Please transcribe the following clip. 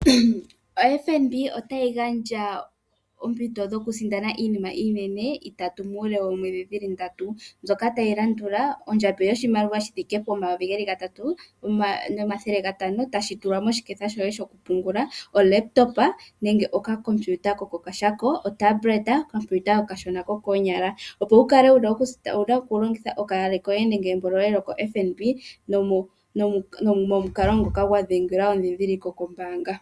OFNB otayi gandja oompito dhoku sindana iinima iinene itatu, muule woomwedhi dhili ndatu, mbyoka tayi landula: ondjambi yoshimaliwa shi thike pomayovi geli gatatu nomathele gatano, tashi tulwa moshiketha shoye shoku pungula, olekitopa nenge okakompiuta ko kokashako nenge otablet, okakompiuta okashona ko koonyala. Opo wu kale noku sindana, owu na oku longitha okaale koye nenge embo lyoye lyokoFNB, momukalo ngoka gwa dhengela endhindhiliko kombaanga.